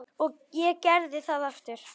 Og ég gerði það aftur.